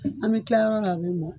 An bɛ kila yɔrɔ o yɔrɔ a bɛ mɔ.